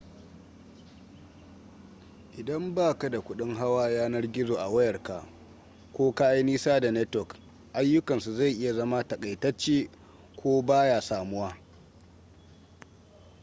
idan baka da kudin hawa yanar gizo a wayarka ko ka yi nisa da network ayyukansu zai iya zama takaitacce ko baya samuwa